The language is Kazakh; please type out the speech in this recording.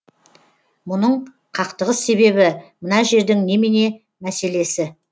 мұның қақтығыс себебі мына жердің немене мәселесі